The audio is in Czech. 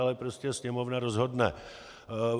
Ale prostě Sněmovna rozhodne.